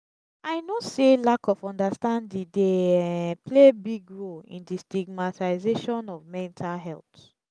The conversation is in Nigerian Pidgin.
i know say lack of understanding dey um play big role in di stigamtization of mental health.